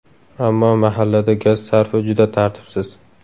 Ammo mahallada gaz sarfi juda tartibsiz.